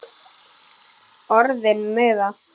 Orðin meiða.